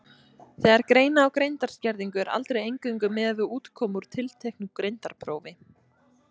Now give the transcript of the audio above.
Þegar greina á greindarskerðingu er aldrei eingöngu miðað við útkomu úr tilteknu greindarprófi.